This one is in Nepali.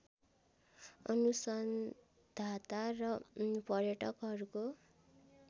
अनुसन्धाता र पर्यटकहरूको